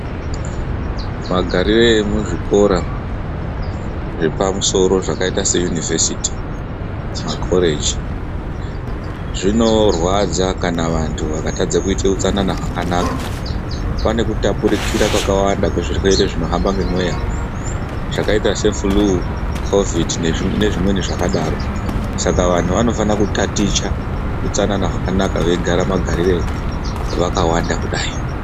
Magarire emuzvikora zvepa musoro zvakaita seyunivhesiti, makhoreji, zvinorwadza kana vanthu vakatadza kuita utsanana hwakanaka. Pane kutapukira kwakawanda kwezvirwere zvinohamba ngemweya zvakaita sefuluu, khovhidhi nezvimweni zvakadaro. Saka vanthu vanofana kutaticha utsanana hwakanaka veigara magarire vakanda kudai.